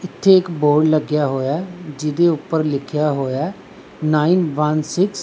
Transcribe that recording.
ਇੱਥੇ ਇੱਕ ਬੋਰਡ ਲੱਗਿਆ ਹੋਇਆ ਹੈ ਜਿਹਦੇ ਊਪਰ ਲਿੱਖਿਆ ਹੋਇਆ ਹੈ ਨਾਇਨ ਵਨ ਸਿੱਕਸ --